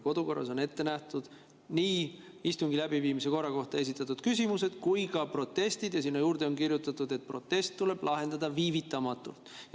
Kodukorras on ette nähtud nii istungi läbiviimise korra kohta esitatud küsimused kui ka protestid, ja sinna juurde on kirjutatud, et protest tuleb lahendada viivitamatult.